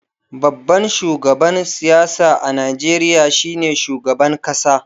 Babban shugaban siyasa a Najeriya shine shugaban kasa.